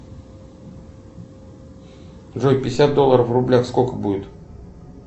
джой пятьдесят долларов в рублях сколько будет